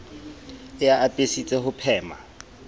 e a apesitse ho phema